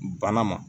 Bana ma